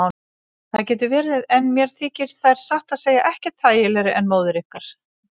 Það getur verið en mér þykir þær satt að segja ekkert þægilegri en móður ykkar.